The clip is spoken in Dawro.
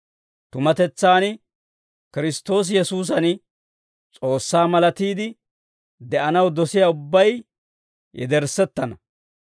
Tumatetsaan Kiristtoosi Yesuusan S'oossaa malatiide de'anaw dosiyaa ubbay yederssettana.